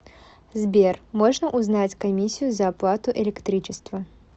сбер можно узнать комиссию за оплату электричества